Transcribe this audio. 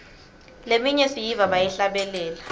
leminye siyiva bayihlabelela